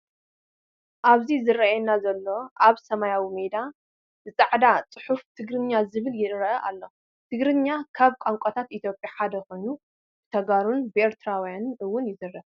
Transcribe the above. ኣብዚ ዝረኣየና ዘሎ ኣብ ሰማያዊ ሜዳ ብፃዕዳ ፅሑፍ ትግርኛ ዝብል የረኣ ኣሎ። ትግርኛ ካብ ቋንቋታት ኢትዮጰያ ሓደ ኮይኑ ብተጋሩን ብኤርትራውያንን እውን ይዛረብዎ።